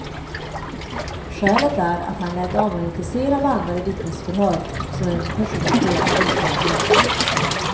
Skälet är att han lät avmagnetisera bandade vittnesförhör, som en person begärt utlämnade.